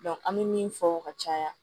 an bɛ min fɔ ka caya